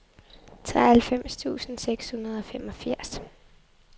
treoghalvfems tusind seks hundrede og femogfirs